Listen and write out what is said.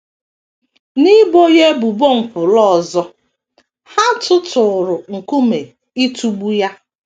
N’ibo ya ebubo nkwulu ọzọ, ha tụtụụrụ nkume ịtụgbu ya.